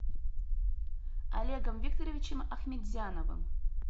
олегом викторовичем ахметзяновым